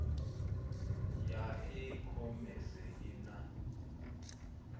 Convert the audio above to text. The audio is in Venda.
ya e khomese i na